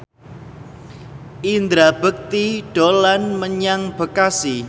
Indra Bekti dolan menyang Bekasi